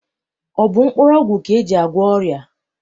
Ọ bụ mkpụrụọgwụ ka e ji agwọ ọrịa?